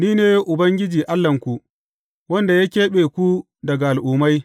Ni ne Ubangiji Allahnku, wanda ya keɓe ku daga al’ummai.